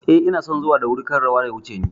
Eh, inason zuwa da wuri kar rawa ya wuce ni